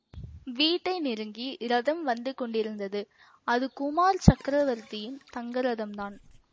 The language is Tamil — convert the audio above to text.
வீட்டை நெருங்கி ரதம் வந்து கொண்டிருந்தது அது குமார சக்கரவர்த்தியின் தங்கரதம் தான்